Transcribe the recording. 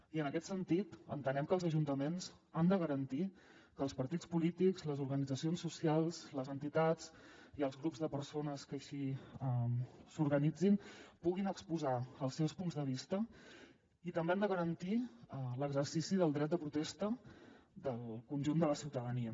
i en aquest sentit entenem que els ajuntaments han de garantir que els partits polítics les organitzacions socials les entitats i els grups de persones que així s’organitzin puguin exposar els seus punts de vista i també han de garantir l’exercici del dret de protesta del conjunt de la ciutadania